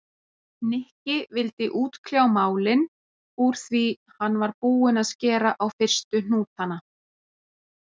Nikki vildi útkljá málin úr því hann var búinn að skera á fyrstu hnútana.